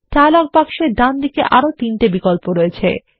dialogue বাক্সের ডান দিকে আরো তিনটি বিকল্পআছে